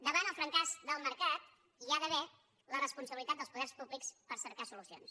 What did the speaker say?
davant el fracàs del mercat hi ha d’haver la responsabilitat dels poders públics per cercar solucions